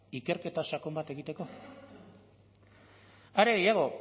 ikerketa sakon bat egiteko are gehiago